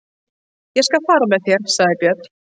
Ég skal fara með þér, sagði Björn.